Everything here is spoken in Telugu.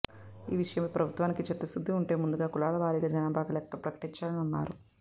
ఈ విషయంపై ప్రభుత్వానికి చిత్తశుద్ధి ఉంటే ముందుగా కులాల వారీగా జనాభా లెక్కలు ప్రకటించాలని అన్నారు